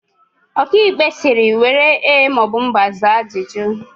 Ọkaikpe sịrị, " were ee maọbụ mba were zaa ajụjụ"!